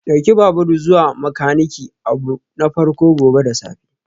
Ɗauki babur zuwa ga makaniki abu na farko gobe da safe